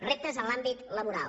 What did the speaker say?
reptes en l’àmbit laboral